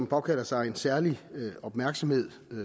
påkalder sig en særlig opmærksomhed